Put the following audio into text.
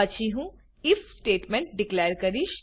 પછી હું I F statement declare કરીશ